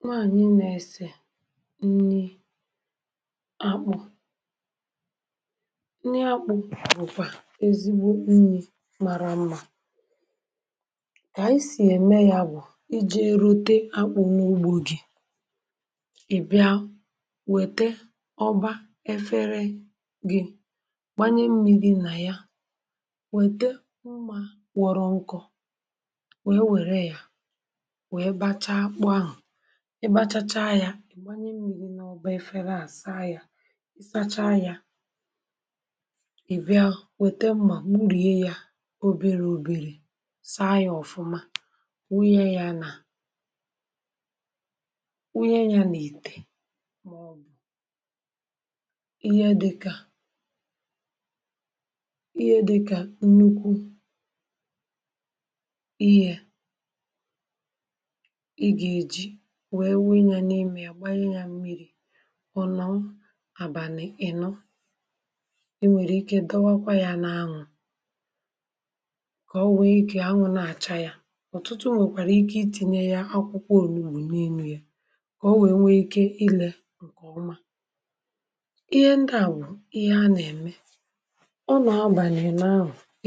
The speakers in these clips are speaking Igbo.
nwàànyị nà-ese nǹri akpụ̀ nnì akpụ̀ bụ́kwà ezi nǹri m̀ara mma bànyì sì èmè yà bụ̀ íjì erùtè akpụ̀ n’ùgbò gị í bìà wètè ọ́bà èfèré gị gbaǹyé mmírí n’ímè yà wètè ụ̀mà kọ̀rọ̀ nkọ̀ wèe wụnye yà í gbaghàcháà yà í gbanye mùbù n’ọ́bà èfèré àhụ̀ nà-ásà yà í sàcháà yà í bìà wètè mmà n’ùríe yà obere obere sàá yà nke ọ̀mà wụnye yà n’ité ọ̀ bụ̀ íhè dịkà nnukwu íte wèré tinye yà n’ímè yà gbaǹyè yà mmírí ọ nọ̀ à bìànyè í nọ̀ è nwekwàrà ike ídòkwà yà n’ànwụ́ ká ò wèe gbàá n’ụ̀tọ̀tụ̀ ò nwekwàrà ike ítinyè ákwụ́kwọ oligobù n’èlù yà ká ò wèe n’ike lìe nke ọ̀mà íhè ndị à bụ̀ íhè a nà-ème ọ nọ̀ à gbaǹwè í nọ̀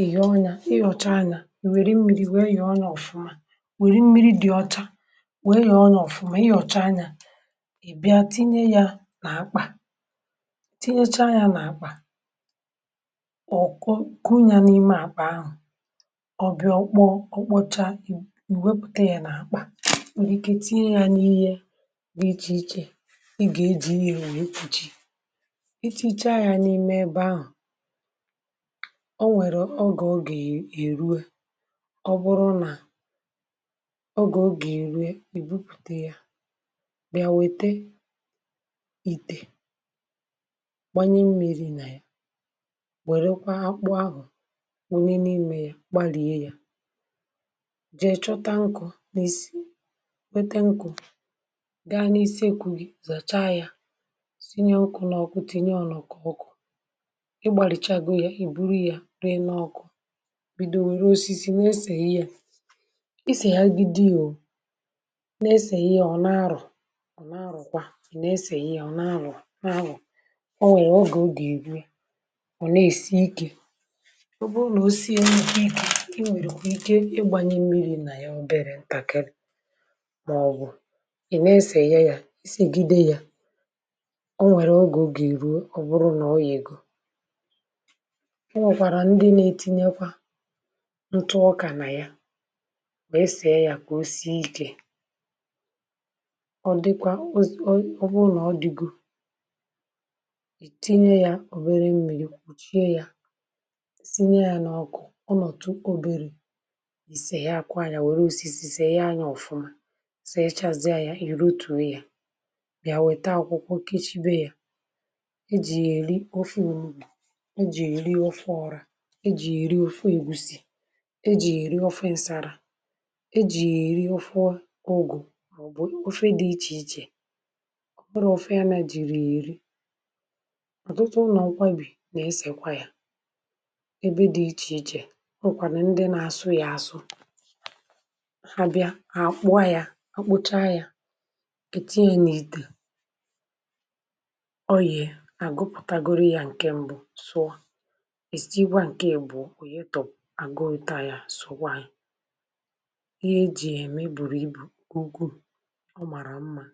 éhìhìé ọnyà íhọ̀chá yà hà nwerè mmírí wèe yà ọ nọ̀ nke ọ̀mà í bìà tinyè yà n’ákpà tinyèchá n’ákà ọkụ́kụ́ yà n’ímè ákpa àhụ̀ ọ bìà ọ̀kpọ̀chá iwèpụ̀ yà n’ákpà nwerè ike tinyè yà n’íhè gà-jì yà nwee íjì í tụ̀chìé yà n’ímè èbè àhụ̀ ò nwerè ògé ògé èrùò ọ̀ bụrụ̀ nà í bìà wètè íte gbaǹyè yà mmírí nà yà wèrékwà akpụ̀ àhụ̀ wùnèné ímé yà gbalìè yà jèe chóòtà nkụ̀ nà-èsì wètè nkụ̀ gàà n’ísì èkwù zàchá yà sínye nkụ̀ n’ọ́kụ́ tinyè yà nọ̀kọ̀ọ̀kọ̀ í gbalìcháà yà íbù yà ríè n’ọ́kụ́ bìdòró wèré osisi nà-eseghị yà ọ nà-àrụ̀ ọ nà-àrụ̀kwà í nà-eseghị íhè ọ nà-àrụ̀ n’ànwụ́ ò nwerè ògé ò gà-èbù ọ nà-èsì íké ọ̀ bụrụ̀ nà ò sìé n’íhì nà è nwekwàrà ike ígbanye mmírí nà yà obere ntàkịrị màọ̀bụ̀ í nà-èsè yà ísì gíde yà ò nwekwàrà ògé ò gà-èbù ọ̀ bụrụ̀ nà ọ̀ yégòrò ò nwekwàrà ndị nà-etinyèkwàrà ntù ọkà nà yà mà èsè yà ká ò sìé íké ọ̀ dịkwà ọ̀ bụrụ̀ nà ọ̀ dịgòrò í tinyè yà obere mmírí kwụ̀chìè yà sínye yà n’ọ́kụ́ ọ nòtùtụ̀ obere í sèghị àkàànỳà wèré osisi sèghị ànyà nke ọ̀mà sò yècházie yà í ròtùò yà bìà wètà ákwụ́kwọ kèshièré yà é jì yà èrì òfè ọ̀mùbù é jì yà èrì òfè ọ́rà é jì yà èrì òfè èbùsì é jì yà èrì òfè nsárà é jì yà èrì òfè ụ̀gụ̀ ọ̀ bụrụ̀ òfè yà nà-èjì yà èrì ọ̀tụ̀tụ̀ ùlò ọ́kwà bì nà-èsèkwà yà èbè dị iche iche nòkwà nà ndị nà-ásụ̀ yà àsụ̀ hà bìà hà akpụ̀à yà akpụ̀chá yà tinyè n’ítè ọ̀ bụrụ̀ nà àgụ̀pụ̀tàgòrò yà nke mbù sụ̀ọ̀ estegwa nke èbùà ọ̀ bụrụ̀ nà oyetọ àgụ̀ òtù àhụ̀ sụ̀ọ̀ gwà yà ọ̀ m̀arà mma n’ànỳà.